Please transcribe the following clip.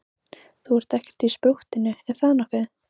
Þú ert ekkert í sprúttinu, er það nokkuð?